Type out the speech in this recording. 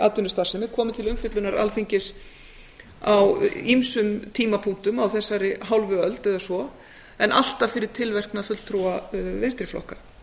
atvinnustarfsemi komið til umfjöllunar alþingis á ýmsum tímapunktum á þessari hálfu öld eða svo en alltaf fyrir tilverknað fulltrúa vinstri flokka